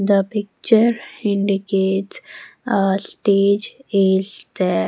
the picture indicates a stage is there.